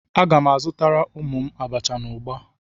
Aga m azutara ụmụ m abacha na ugba.